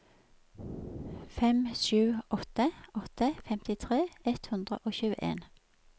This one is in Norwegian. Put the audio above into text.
fem sju åtte åtte femtitre ett hundre og tjueen